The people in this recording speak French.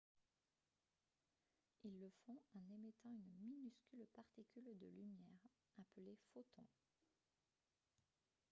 ils le font en émettant une minuscule particule de lumière appelée « photon »